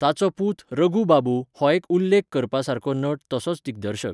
ताचो पूत रघू बाबू हो एक उल्लेख करपासारको नट तसोच दिग्दर्शक.